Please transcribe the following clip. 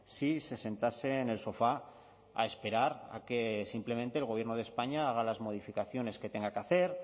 si se sentase en el sofá a esperar a que simplemente el gobierno de españa haga las modificaciones que tenga que hacer